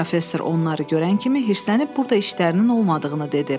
Professor onları görən kimi hirslənib burda işlərinin olmadığını dedi.